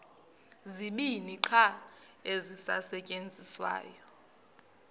zibini qha ezisasetyenziswayo